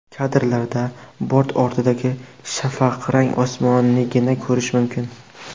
Kadrlarda bort ortidagi shafaqrang osmonnigina ko‘rish mumkin.